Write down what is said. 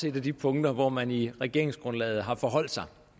et af de punkter hvor man i regeringsgrundlaget har forholdt sig